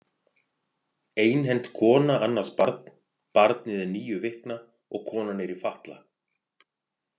Einhent kona annast barn Barnið er níu vikna og konan er í fatla.